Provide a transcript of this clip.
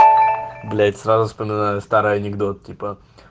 блять сразу вспоминаю старый анекдот типа